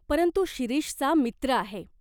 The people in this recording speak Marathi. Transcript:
परंतु शिरीषचा मित्र आहे.